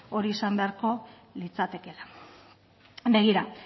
hori izan beharko litzatekela begira